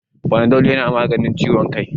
Fanadol yana magance ciwon kai